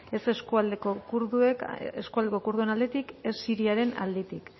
ez eskualdeko kurduen aldetik ez siriaren aldetik